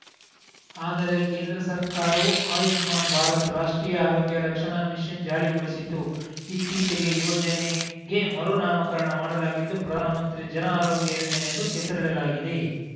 ಆದರೆ ಕೇಂದ್ರ ಸರ್ಕಾರವು ಆಯುಷ್ಮಾನ್‌ ಭಾರತ್‌ ರಾಷ್ಟ್ರೀಯ ಆರೋಗ್ಯ ರಕ್ಷಣ ಮಿಷನ್‌ ಜಾರಿಗೊಳಿಸಿತು ಇತ್ತೀಚೆಗೆ ಯೋಜನೆಗೆ ಮರು ನಾಮಕಾರಣ ಮಾಡಲಾಗಿದ್ದು ಪ್ರಧಾನಮಂತ್ರಿ ಜನ ಆರೋಗ್ಯ ಯೋಜನೆ ಎಂದು ಹೆಸರಿಡಲಾಗಿದೆ